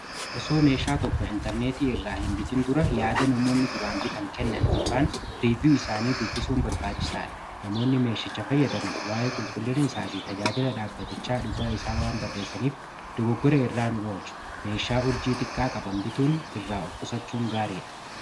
osoo meeshaa tokko intarneetii irraa hinbitiin dura yaada namoonni duraan bitan kennan y reviyuu isaanii dubbisuun barbaachisaa dha namoonni meeshicha fayyadaman waa'ee qulqullina isaa fi tajaajila dhaabbatichaa dhugaa isaa waan barreessaniif dogogora irraa nu olchu meeshaa urjii xiqqaa qaban bituun irraa of kusachuun gaarii dha